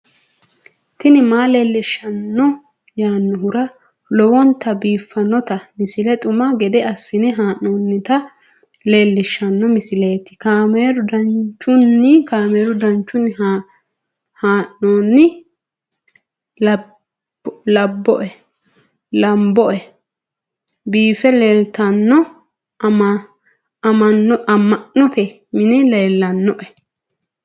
tini maa leelishshanno yaannohura lowonta biiffanota misile xuma gede assine haa'noonnita leellishshanno misileeti kaameru danchunni haa'noonni lamboe biiffe leeeltanno amma'note mini leellannoe